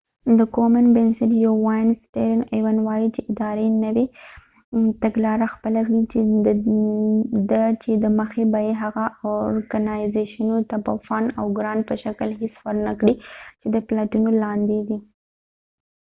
د کومين بنسټ یو وياند سټیرن ایون stearms auns وایي چې ادارې نوې تګلاره خپله کړي ده چې د مخی به یې هغه اورکنایزیشنونو ته به د فنډ او ګرانت په شکل هیڅ ورنه کړي چې د پلټنو لاندې دي